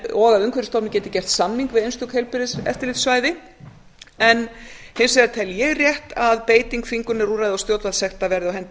og að umhverfisstofnun geti gert samning við einstök heilbrigðiseftirlitssvæði en hins vegar tel ég rétt að beiting þvingunarúrræða og stjórnvaldssekta verði á hendi